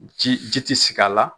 Ji ji tɛ sigi a la